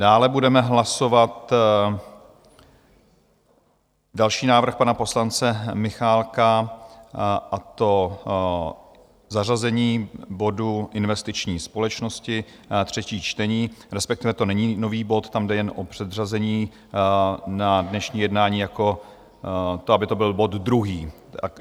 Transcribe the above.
Dále budeme hlasovat další návrh pana poslance Michálka, a to zařazení bodu Investiční společnosti, třetí čtení - respektive to není nový bod, tam jde jen o předřazení na dnešní jednání jako to, aby to byl bod druhý.